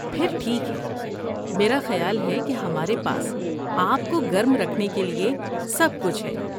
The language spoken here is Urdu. پھر ٹھیک ہے۔ میرا خیال ہے کہ ہمارے پاس آپ کو گرم رکھنے کے لیے سب کچھ ہے۔